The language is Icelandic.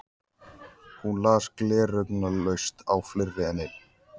Hún las gleraugnalaust á fleiri en einn